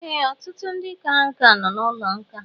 Ee, ọtụtụ ndị kara nkà nọ n'ụlọ nkà